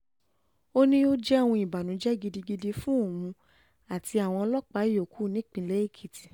ó ní ó jẹ́ òun ìbànújẹ́ gidigidi fún òun àti àwọn ọlọ́pàá yòókù nípìnlẹ̀ èkìtì